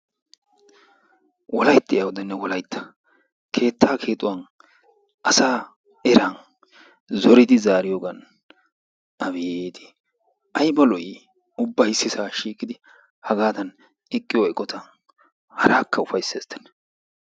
Wolaytti awudenne Wolaytta keettaa keexxuwan asa eran zoridi zaariyoogan abeeti! Aybba lo"i ubbay issisa shiiqidi hagaadan eqqiyo eqqota. Harakka ufayssesttenne.